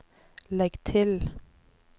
legg til